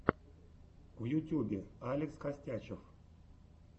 в ютюбе алекс костячев